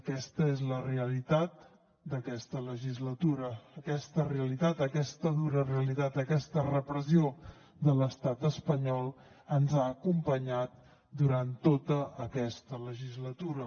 aquesta és la realitat d’aquesta legislatura aquesta realitat aquesta dura realitat aquesta repressió de l’estat espanyol ens ha acompanyat durant tota aquesta legislatura